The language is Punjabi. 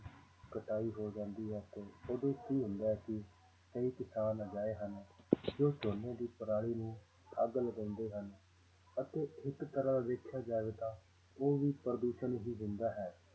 ਕਟਾਈ ਹੋ ਜਾਂਦੀ ਹੈ ਤੇ ਉਦੋਂ ਕੀ ਹੁੰਦਾ ਹੈ ਕਿ ਕਈ ਕਿਸਾਨ ਅਜਿਹੇ ਹਨ ਜੋ ਝੋਨੇ ਦੀ ਪਰਾਲੀ ਨੂੰ ਅੱਗ ਲਗਾਉਂਦੇ ਹਨ ਅਤੇ ਇੱਕ ਤਰ੍ਹਾਂ ਦੇਖਿਆ ਜਾਵੇ ਤਾਂ ਉਹ ਵੀ ਪ੍ਰਦੂਸ਼ਣ ਹੀ ਦਿੰਦਾ ਹੈ